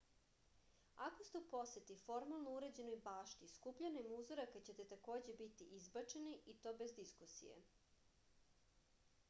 ako ste u poseti formalno uređenoj bašti skupljanjem uzoraka ćete takođe biti izbačeni i to bez diskusije